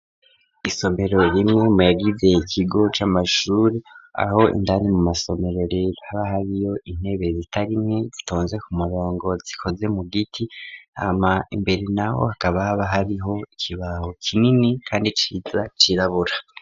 Isomero rimwe mu yagize ikigo c'amashure aho indani mu masomero rero haba hariyo intebe zitari imwe zitonze ku murongo zikoze mu giti hama imbere naho hakaba haba hariho ikibaho kinini kandi ciza cirabura.